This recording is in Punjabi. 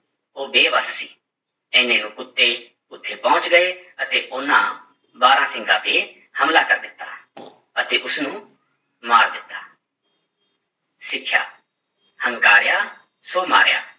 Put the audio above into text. ਉਹ ਬੇਬਸ ਸੀ, ਇੰਨੇ ਨੂੰ ਕੁੱਤੇ ਉੱਥੇ ਪਹੁੰਚ ਗਏ ਅਤੇ ਉਹਨਾਂ ਬਾਰਾਂਸਿੰਗਾ ਤੇ ਹਮਲਾ ਕਰ ਦਿੱਤਾ ਅਤੇ ਉਸਨੂੰ ਮਾਰ ਦਿੱਤਾ ਸਿੱਖਿਆ ਹੰਕਾਰਿਆ ਸੋ ਮਾਰਿਆ